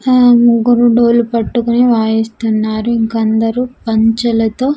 హా ముగ్గురు డోలు పట్టుకుని వాయిస్తున్నారు ఇంకా అందరూ పంచలతో--